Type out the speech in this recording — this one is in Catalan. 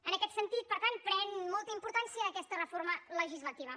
en aquest sentit per tant pren molta importància aquesta reforma legislativa